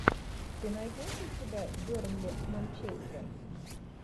ты найдешь у себя бернли манчестер